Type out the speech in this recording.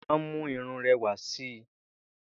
Ìlẹ̀kẹ̀ ma ń mú irun rẹwà si.